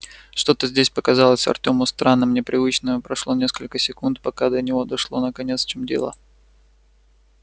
что-то здесь показалось артёму странным непривычным и прошло несколько секунд пока до него дошло наконец в чём дело